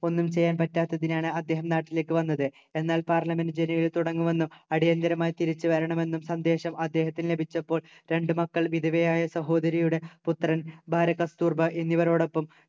ഒന്നും ചെയ്യാൻ പറ്റാത്തതിനാലാണ് അദ്ദേഹം നാട്ടിലേക്ക് വന്നത് എന്നാൽ parliament ജനുവരിയിൽ തുടങ്ങുമെന്നും അടിയന്തിരമായി തിരിച്ചു വരണമെന്നും സന്ദേശം അദ്ദേഹത്തിന് ലഭിച്ചപ്പോൾ രണ്ടു മക്കൾ വിധവയായ സഹോദരിയുടെ പുത്രൻ ഭാര്യ കസ്‌തൂർബാ എന്നിവരോടൊപ്പം